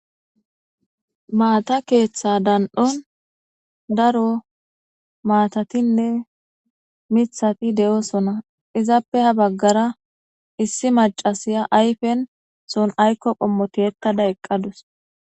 maata keeththa dan7on daro maatatinne mithati de7oosona izappe ha baggara issi macasiya ayfen son aykko qommoti hekkada eqqadus